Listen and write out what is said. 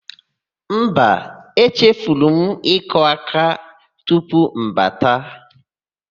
Mba, echefuru m ịkụ áká tupu m bata.